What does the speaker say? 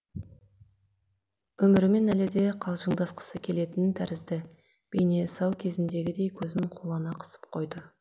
өмірімен әлі де қалжыңдасқысы келетін тәрізді бейне сау кезіндегідей көзін қулана қысып қойды